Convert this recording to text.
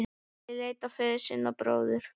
Ari leit á föður sinn og bróður.